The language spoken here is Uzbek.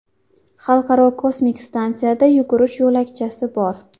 Xalqaro kosmik stansiyada yugurish yo‘lakchasi bor.